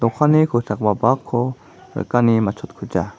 dokanni kosakgipa bakko rikani matchotkuja.